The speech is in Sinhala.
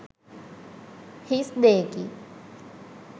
හිස් දෙයකි.